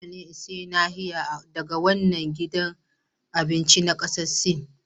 Dole ne in sayi abincin nahiya daga wannan gidan abincin na kasar Sin.